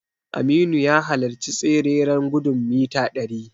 Aminu ya halarci tsereren gudun mita ɗari.